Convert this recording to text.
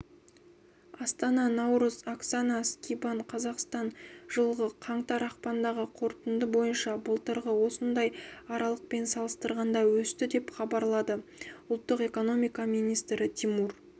астана наурыз оксана скибан қазақстан жылғы қаңтар-ақпандағы қорытынды бойынша былтырғы осындай аралықпен салыстырғанда өсті деп хабарлады ұлттық экономика министрі тимур